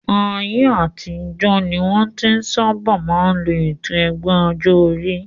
Ayé àtijọ́ ni wọ́n tí sábà máa ń lo ètò ẹgbẹ́ ọjọ́ orí